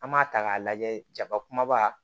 An b'a ta k'a lajɛ jaba kumaba